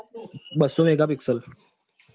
બસ્સો mega pixel